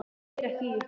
Ég heyri ekki í ykkur.